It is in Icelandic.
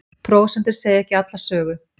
Prósentur segja ekki alla sögu